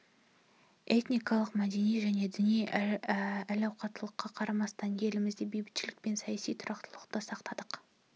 этникалық мәдени және діни әралуандыққа қарамастан елімізде бейбітшілік пен саяси тұрақтылықты сақтадық